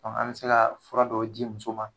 an me se kaa fura dɔw ji muso ma